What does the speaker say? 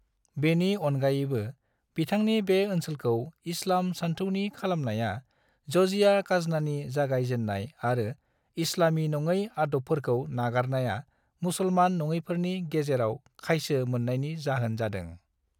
बेनि अनगायैबो, बिथांनि बे ओनसोलखौ इस्लाम सानथौनि खालामनाया जजिया काजनानि जागाय जेननाय आरो इस्लामी नङै आदबफोरखौ नागारनाया मुसलमान नंङैफोरनि गेजेराव खायसो मोननायनि जाहोन जादों।